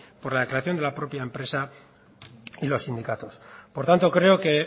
por la declaración de la propia empresa y los sindicatos por tanto creo que